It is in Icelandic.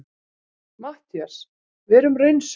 MATTHÍAS: Verum raunsæ.